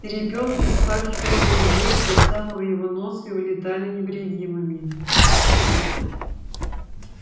перепёлки вспархивали на лугу из под самого его носа и улетали невредимыми